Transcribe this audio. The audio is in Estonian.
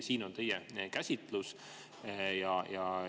Milline on teie käsitlus?